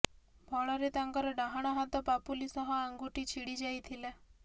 ଫଳରେ ତାଙ୍କର ଡାହାଣ ହାତ ପାପୁଲି ସହ ଆଙ୍ଗୁଠି ଛିଡି ଯାଇଥିଲା